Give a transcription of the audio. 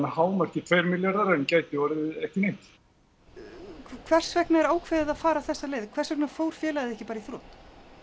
hámarki tveir milljarðar en gæti orðið ekki neitt hvers vegna er ákveðið að fara þessa leið hvers vegna fór félagið ekki bara í þrot